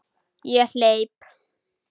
Ég hleyp.